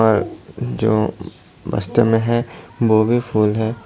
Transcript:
जो बस्तों में भी हैं वो भी फूल है।